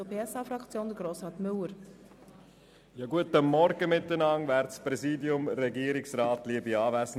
Für die SP-JUSO-PSA-Fraktion hat Grossrat Müller das Wort.